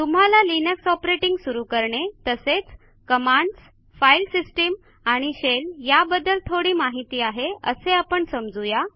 तुम्हाला Linux operating सुरू करणे तसेच कमांडस् फाईल सिस्टीम आणि शेल या बद्दल थोडी माहिती आहे असे आपण समजू या